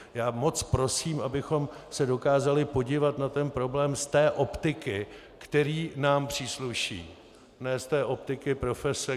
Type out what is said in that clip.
Já moc prosím, abychom se dokázali podívat na ten problém z té optiky, která nám přísluší, ne z té optiky profese.